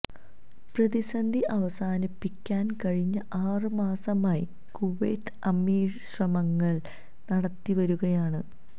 പ്രതിസന്ധി അവസാനിപ്പിക്കാന് കഴിഞ്ഞ ആറ് മാസമായി കുവൈത്ത് അമീര് ശ്രമങ്ങള് നടത്തിവരികയാണ്